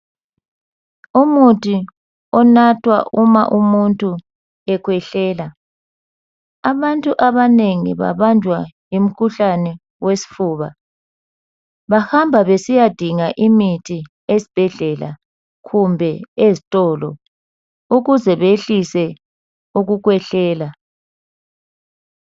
umuthi onathwa uma umuntu ekwehlela abantu abanengi babanjwa yimkhuhlane yesifuba bahamba besiyadinga imithi esibhedlela kumbe ezitolo ukuze behlise ukukwehlela